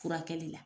Furakɛli la